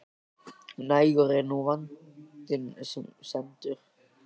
Nægur er nú vandinn sem stendur.